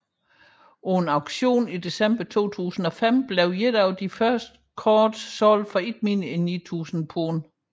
På en auktion i december 2005 blev et af disse første kort solgt for ikke mindre end 9000 pund